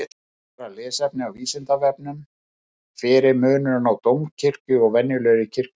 Frekara lesefni á Vísindavefnum: Hver er munurinn á dómkirkju og venjulegri kirkju?